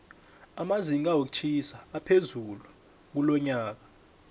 amazinga wokutjhisa aphezulu kulonyoka